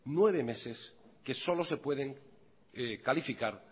nueve meses que solo se pueden calificar